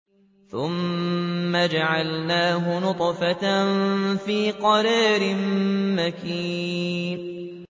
ثُمَّ جَعَلْنَاهُ نُطْفَةً فِي قَرَارٍ مَّكِينٍ